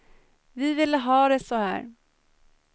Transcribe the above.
Vi ville ha det så här.